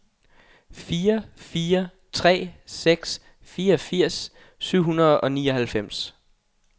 fire fire tre seks fireogfirs syv hundrede og nioghalvfems